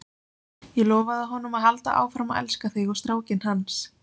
Ég lofaði honum að halda áfram að elska þig og strákinn hans.